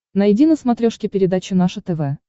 найди на смотрешке передачу наше тв